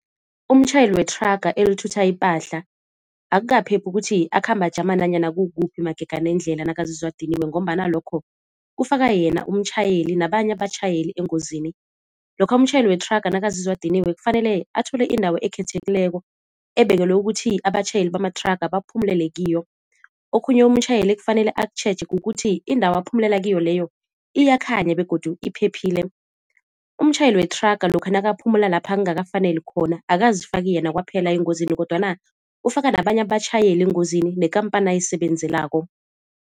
Umtjhayeli wethraga elithutha ipahla akukaphephi ukuthi akhambe ajama nanyana kukuphi magega nendlela nakazizwa adiniwe ngombana lokho kufaka yena umtjhayeli nabanye abatjhayeli engozini. Lokha umtjhayeli wethraga nakazizwa adiniwe kufanele athole indawo ekhethekileko ebekelwe ukuthi abatjhayeli bamathraga baphumulele kiyo. Okhunye umtjhayeli ekufanele akutjheje kukuthi indawo aphumulela kiyo leyo iyakhanya begodu iphephile. Umtjhayeli wethraga lokha nakaphumula lapha kungakafaneli khona akazifaki yena kwaphela engozini kodwana ufaka nabanye abatjhayeli engozini nekhampani ayisebenzelako.